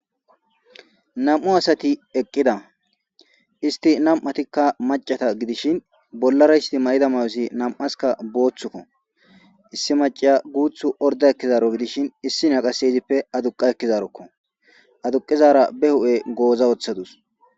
nam7u asati eqqida isti nam7atikka macata gidishin bollara isti ma7ida mayosi nam7aska booththukko issi maciya guuthu orda ekkizaaro gidishin issi naqase izippe aduqa ekkizarokko aduqizara be hu7e gooza woththadus